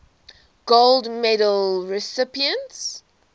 gold medal recipients